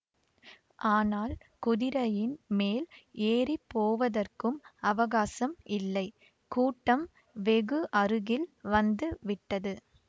ஆனால் குதிரையின் மேல் ஏறி போவதற்கும் அவகாசம் இல்லை கூட்டம் வெகு அருகில் வந்து விட்டது